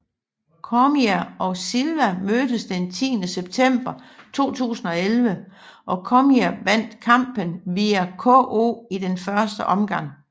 Cormier og Silva mødtes den 10 september 2011 og Cormier vandt kampen via KO i den første omgang